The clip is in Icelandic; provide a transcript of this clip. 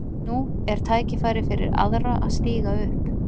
Nú er tækifærið fyrir aðra að stíga upp.